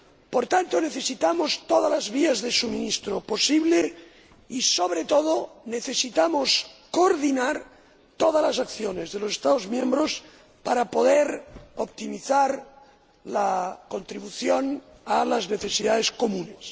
Por tanto, necesitamos todas las vías de suministro posible y, sobre todo, necesitamos coordinar todas las acciones de los Estados miembros para poder optimizar la contribución a las necesidades comunes.